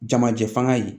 Jamajɛ fanga ye